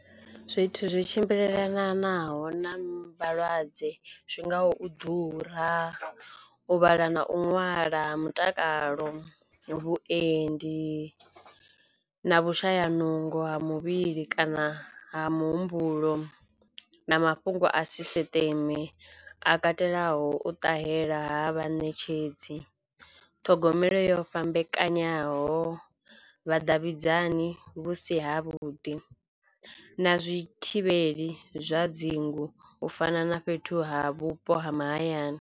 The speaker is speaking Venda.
Zwithu zwi tshimbilelanaho na vhalwadze zwi ngaho u ḓura, u vhala na u ṅwala mutakalo, vhuendi na vhushaya nungo ha muvhili kana ha muhumbulo na mafhungo a sisiṱeme a katelaho u ṱahela ha vhaṋetshedzi, ṱhogomelo yo fhambekanyaho, vhadavhidzani vhusi ha vhuḓi na zwi thivheli zwa dzinngu u fana na fhethu ha vhupo ha mahayani.